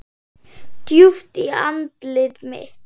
Djúpt í andlit mitt.